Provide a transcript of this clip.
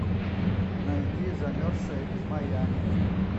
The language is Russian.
найди замерзшая из майами